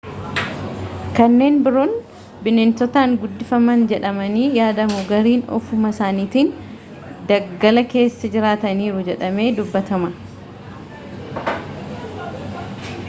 kanneen biroon bineensotaan guddifaman jedhamanii yaadamu gariin ofuma isaaniitiin daggala keessa jiraataniiru jedhamee dubbatama